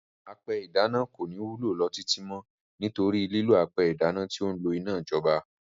Apẹ ìdáná kò ní wúlò lọ títí mọ́, nítorí lílò apẹ ìdáná tí ó n lo iná ìjọba.